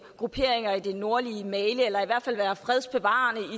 grupperinger i det nordlige mali eller i hvert fald være fredsbevarende i